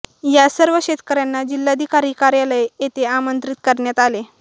या सर्व शेतकऱ्यांना जिल्हाधिकारी कार्यालय येथे आमंत्रित करण्यात आले